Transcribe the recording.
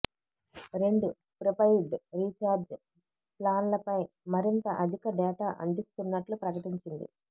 రెండు prepaid recharge ప్లాన్లపై మరింత అధిక డేటా అందిస్తున్నట్లు ప్రకటించింది